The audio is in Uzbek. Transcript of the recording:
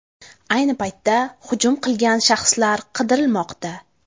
Ayni paytda hujum qilgan shaxslar qidirilmoqda.